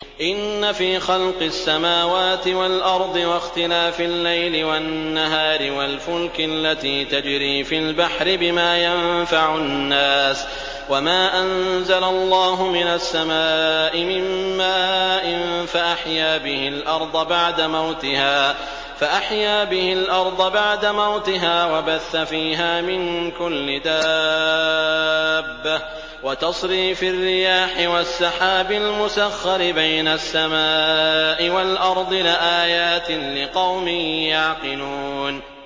إِنَّ فِي خَلْقِ السَّمَاوَاتِ وَالْأَرْضِ وَاخْتِلَافِ اللَّيْلِ وَالنَّهَارِ وَالْفُلْكِ الَّتِي تَجْرِي فِي الْبَحْرِ بِمَا يَنفَعُ النَّاسَ وَمَا أَنزَلَ اللَّهُ مِنَ السَّمَاءِ مِن مَّاءٍ فَأَحْيَا بِهِ الْأَرْضَ بَعْدَ مَوْتِهَا وَبَثَّ فِيهَا مِن كُلِّ دَابَّةٍ وَتَصْرِيفِ الرِّيَاحِ وَالسَّحَابِ الْمُسَخَّرِ بَيْنَ السَّمَاءِ وَالْأَرْضِ لَآيَاتٍ لِّقَوْمٍ يَعْقِلُونَ